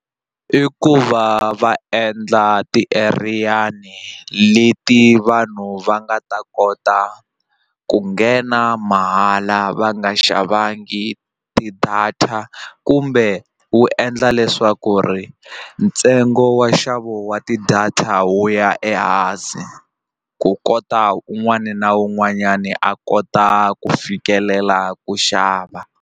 I ku va va endla tieriyani leti vanhu va nga ta kota ku nghena mahala va nga xavangi ti-data kumbe wu endla leswaku ri ntsengo wa nxavo wa ti-data wu ya ehansi ku kota un'wana na un'wanyani a kota ku fikelela ku xava.